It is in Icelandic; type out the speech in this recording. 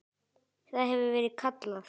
Það hefur verið kallað